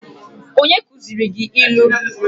Who taught you how to use proverbs?